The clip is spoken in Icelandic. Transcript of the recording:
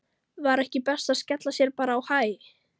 Var ekki best að skella sér bara á Hæ?